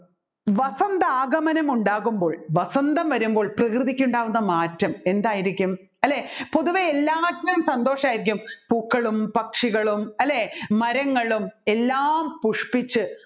വസന്തആഗമനം ഉണ്ടാകുമ്പോൾ വസന്തം വരുമ്പോൾ പ്രകൃതിക്ക് ഉണ്ടാകുന്ന മാറ്റം എന്തായിരിക്കും അല്ലെ പൊതുവെ എല്ലാത്തിനും സന്തോഷമായിരിക്കും പൂക്കളും പക്ഷികളും അല്ലെ മരങ്ങളും എല്ലാം പുഷ്പിച്ച്